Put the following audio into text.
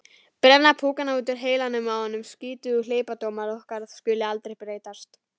Brenna púkana út úr heilanum á honum: skrýtið að hleypidómar okkar skuli aldrei breytast.